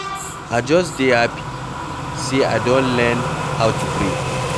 I just dey happy say I don learn how to pray.